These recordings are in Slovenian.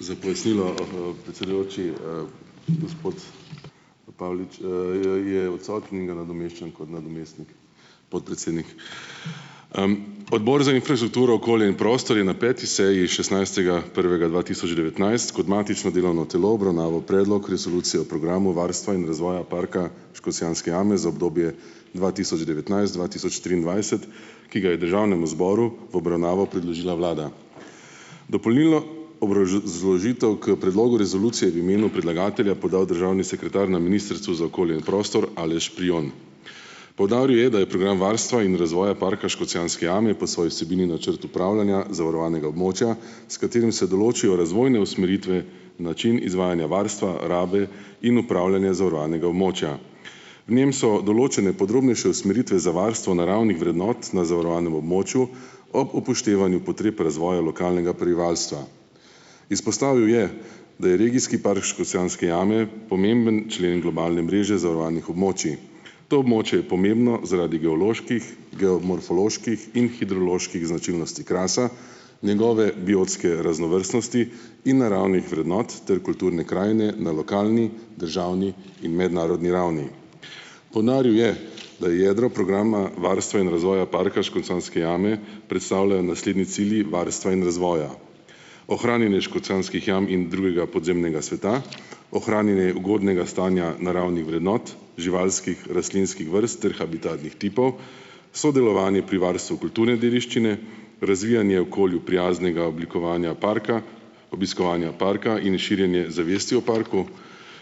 Za pojasnilo, predsedujoči, gospod Pavlič, je odsoten in ga nadomeščam kot nadomestni podpredsednik. Odbor za infrastrukturo, okolje in prostor je na peti seji šestnajstega prvega dva tisoč devetnajst kot matično delovno telo obravnaval predlog Resolucije o programu varstva in razvoja parka Škocjanske jame za obdobje dva tisoč devetnajst-dva tisoč triindvajset, ki ga je državnemu zboru v obravnavo predložila vlada. Dopolnilno k predlogu Resolucije v imenu predlagatelja podal državni sekretar na Ministrstvu za okolje in prostor Aleš Prijon. Poudaril je, da je program varstva in razvoja parka Škocjanske jame po svoji vsebini načrt upravljanja zavarovanega območja, s katerim se določijo razvojne usmeritve, način izvajanja varstva, rabe in upravljanja zavarovanega območja. Njem so določene podrobnejše usmeritve za varstvo naravnih vrednot na zavarovanem območju ob upoštevanju potreb razvoja lokalnega prebivalstva. Izpostavil je, da je regijski park Škocjanske jame pomemben člen globalne mreže zavarovanih območij. To območje je pomembno zaradi geoloških, geomorfoloških in hidroloških značilnosti Krasa, njegove biotske raznovrstnosti in naravnih vrednot ter kulturne krajine na lokalni, državni in mednarodni ravni. Poudaril je, da je jedro programa varstva in razvoja parka Škocjanske jame predstavljajo naslednji cilji varstva in razvoja: ohranjanje škocjanskih jam in drugega podzemnega sveta, ohranjanje ugodnega stanja naravnih vrednot, živalskih, rastlinskih vrst ter habitatnih tipov, sodelovanje pri varstvu kulturne dediščine, razvijanje okolju prijaznega oblikovanja parka, obiskovanja parka in širjenje zavesti o parku,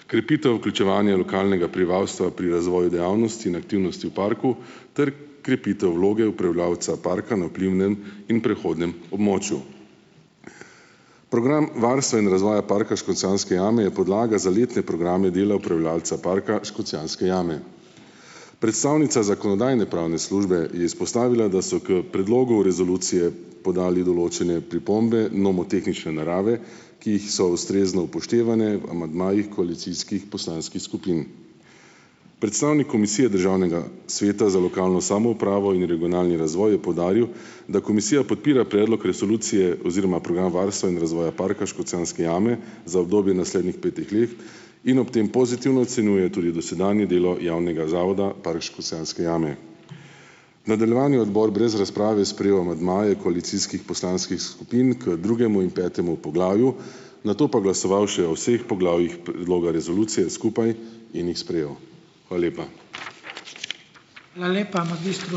krepitev vključevanja lokalnega prebivalstva pri razvoju dejavnosti in aktivnosti v parku ter krepitev vloge upravljavca parka na vplivnem in prehodnem območju. Program varstva in razvoja parka Škocjanske jame je podlaga za letne programe dela upravljavca parka Škocjanske jame. Predstavnica zakonodajno-pravne službe je izpostavila, da so k predlogu Resolucije podali določene pripombe nomotehnične narave, ki jih so ustrezno upoštevane v amandmajih koalicijskih poslanskih skupin. Predstavnik Komisije Državnega sveta za lokalno samoupravo in regionalni razvoj je poudaril, da Komisija podpira predlog resolucije oziroma programa varstva in razvoja parka Škocjanske jame za obdobje naslednjih petih let in ob tem pozitivno ocenjuje tudi dosedanje delo javnega zavoda Park Škocjanske jame. Nadaljevanju je odbor brez razprave sprejel amandmaje koalicijskih poslanskih skupin k drugemu in petemu poglavju, nato pa glasoval še o vseh poglavjih predloga resolucije skupaj in jih sprejel. Hvala lepa. Hvala lepa